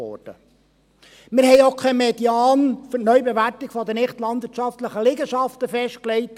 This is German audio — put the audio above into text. Wir haben auch keinen Median für die Neubewertung der nichtlandwirtschaftlichen Liegenschaften festgelegt.